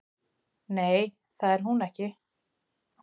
Nei, það er hún ekki